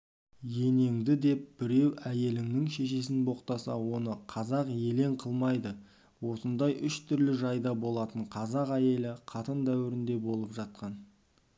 енеңді деп біреу әйелінің шешесін боқтаса оны қазақ елең қылмайды осындай үш түрлі жайда болатын қазақ әйелі қатын дәуірінде толып жатқан